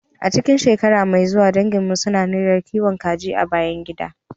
A cikin shekara mai zuwa, danginmu suna niyyar kiwon kaji a bayan gida.